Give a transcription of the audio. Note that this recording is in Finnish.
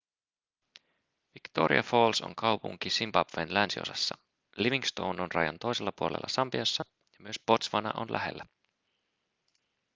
victoria falls on kaupunki zimbabwen länsiosassa livingstone on rajan toisella puolella sambiassa ja myös botswana on lähellä